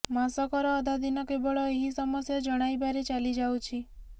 ମାସକର ଅଧା ଦିନ କେବଳ ଏହି ସମସ୍ୟା ଜଣାଇବାରେ ଚାଲି ଯାଉଛି